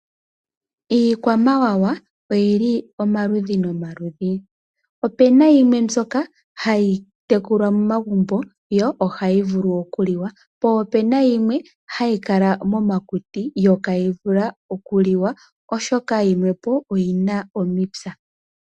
Iikwamawa oyili omaludhi nomaludhi .opena yimwe mbyoka hayi tekulwa momagumbo yo ohayi vulu okuliwa, poo opena yimwe hayi kala momakuti yo ihayi vulu okuliwa oshoka yimwepo oyina omipya.